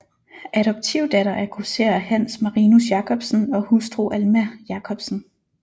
Adoptivdatter af grosserer Hans Marinus Jacobsen og hustru Alma Jacobsen